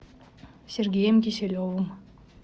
сергеем киселевым